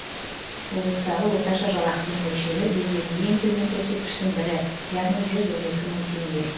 облыстағы орташа жалақының мөлшері елдегі ең төмен көрсеткіштің бірі яғни жүз он екі мың теңге